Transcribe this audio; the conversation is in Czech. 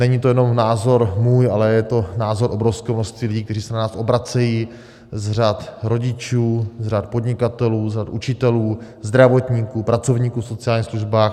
Není to jenom názor můj, ale je to názor obrovského množství lidí, kteří se na nás obracejí z řad rodičů, z řad podnikatelů, z řad učitelů, zdravotníků, pracovníků v sociálních službách.